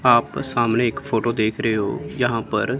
आप सामने एक फ़ोटो देख रहे हो यहां पर--